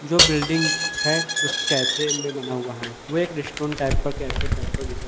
जो बिल्डिंग है उस कैफे में बना हुआ है वे एक रेस्टून टाइप का कैफे टाइप पर जैसा--